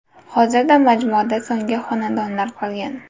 Hozirda majmuada so‘nggi xonadonlar qolgan.